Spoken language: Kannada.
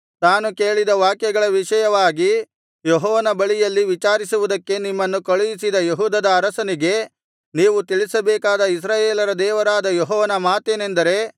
ತಾನು ಕೇಳಿದ ವಾಕ್ಯಗಳ ವಿಷಯವಾಗಿ ಯೆಹೋವನ ಬಳಿಯಲ್ಲಿ ವಿಚಾರಿಸುವುದಕ್ಕೆ ನಿಮ್ಮನ್ನು ಕಳುಹಿಸಿದ ಯೆಹೂದದ ಅರಸನಿಗೆ ನೀವು ತಿಳಿಸಬೇಕಾದ ಇಸ್ರಾಯೇಲರ ದೇವರಾದ ಯೆಹೋವನ ಮಾತೇನೆಂದರೆ